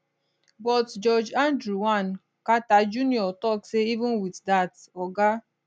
but judge andrew l carter jr tok say even wit dat oga